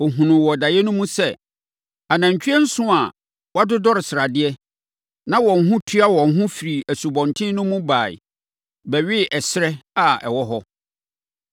Ɔhunuu wɔ daeɛ no mu sɛ, anantwie nson a wɔadodɔre sradeɛ, na wɔn ho tua wɔn firii asubɔnten no mu baeɛ bɛwee ɛserɛ a na ɛwɔ hɔ.